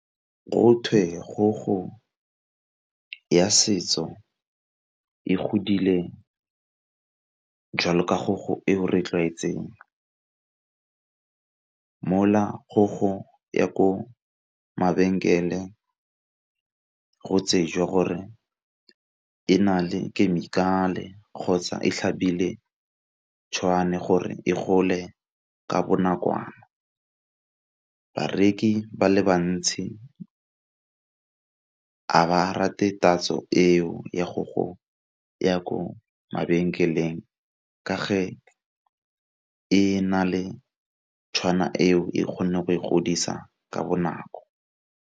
Kgogo ya setso e godile jalo ka kgogo e o re tlwaetseng, mola kgogo ya ko mabenkele go tsejwa gore e na le khemikhale kgotsa e tlhabile gore e gole ka bonakwana. Bareki ba le bantsi a ba rate tatso eo ya kgogo ya ko mabenkeleng ka fa e na le tshwana eo e kgone go e godisa ka bonako.